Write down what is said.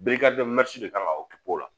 Bere kari de kan ka o o la